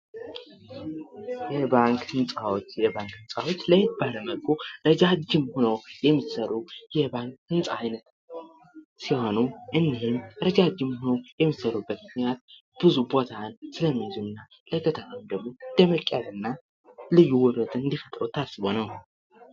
የባንክ ህንፃዎች የባንክ ህንፃዎች ለየት ባሉ መልኩ እረጃጅም ሆነው የሚሠሩ የባንክ ህንፃ አይነት ሲሆኑ እኒህም እረጃጅም ሆነው የሚሰሩበትን ያህል ብዙ ቦታስለሚይዙ እና ደመቅ ያለ እና ልዩ ውበት እንዲፈጥሩ ታስቦ ነው።